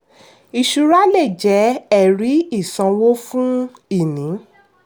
ìṣura lè jẹ́ ẹ̀rí-ìsanwó fún ìní.